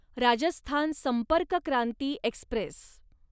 Rajasthan Sampark Kranti Express